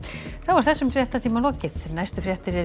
þessum fréttatíma er lokið næstu fréttir eru